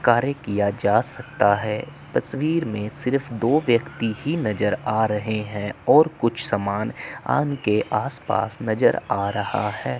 कार्य किया जा सकता है तस्वीर में सिर्फ दो व्यक्ति ही नजर आ रहे हैं और कुछ समान के आसपास नजर आ रहा है।